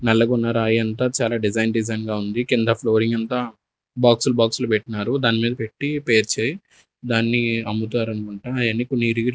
నల్లగున్న రాయి అంతా చాలా డిజైన్ డిజైన్ గా ఉంది కింద ఫ్లోరింగ్ అంతా బాక్సులు బాక్సులు పెట్నారు దాని మీద పెట్టి పేర్చాయి దాన్ని అమ్ముతారనుకుంటా ఆయనక --